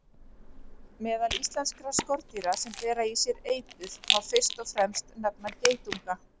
Meðal íslenskra skordýra sem bera í sér eitur má fyrst og fremst nefna geitunga.